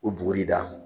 O bugɔli da